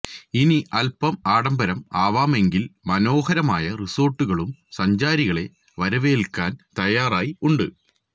ഇനി അല്പം ആഡംബരം ആവാമെങ്കില് മനോഹരമായ റിസോർട്ടുകളും സഞ്ചാരികളെ വരവേല്ക്കാന് തയ്യാറായി ഉണ്ട്